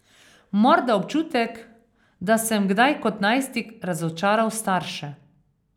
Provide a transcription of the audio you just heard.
Morda občutek, da sem kdaj kot najstnik razočaral starše.